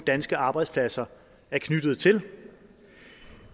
danske arbejdspladser er knyttet til